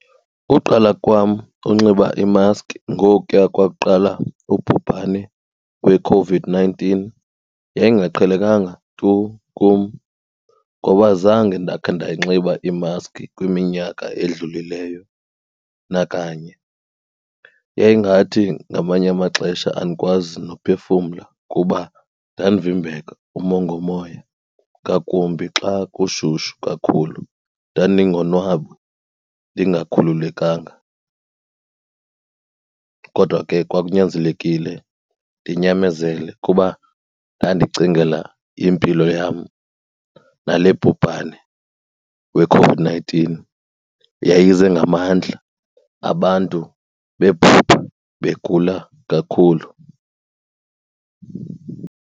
Uqala kwam unxiba imaskhi ngokuya kwakuqala ubhubhane weCOVID-nineteen yayingaqhelekanga tu kum ngoba zange ndakhe ndayinxiba imaskhi kwiminyaka edlulileyo nakanye. Yayingathi ngamanye amaxesha andikwazi nophefumla kuba ndandivimbeka umongomoya, ngakumbi xa kushushu kakhulu. Ndandingonwabi, ndingakhululekanga kodwa ke kwakunyanzelekile ndinyamezele kuba ndandicingela impilo yam nale bhubhane weCOVID-nineteen yayize ngamandla abantu begula kakhulu.